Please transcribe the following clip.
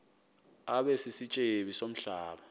abe sisityebi somhlaba